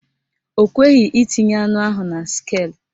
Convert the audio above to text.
Ọ kweghị itinye anụ ahụ na skeelụ